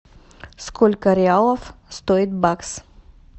сколько реалов стоит бакс